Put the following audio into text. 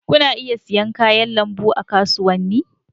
Kuna iya siyan kayan lambu a kasuwanni.